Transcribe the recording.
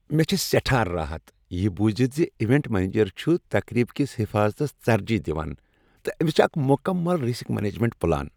مےٚ چھُ سیٹھاہ راحت یہ بوزتھ ز ایونٹ منیجر چھ تقریبہ کس حفاظتس ترجیح دوان تہٕ أمس چھ اکھ مکمل رسک مینجمنٹ پلان۔